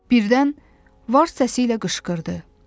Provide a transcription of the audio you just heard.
Birdən vars səsi ilə qışqırdı.